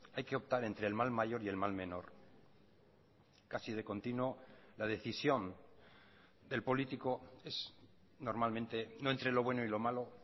hay que optar entre el mal mayor y el mal menor casi de continuo la decisión del político es normalmente no entre lo bueno y lo malo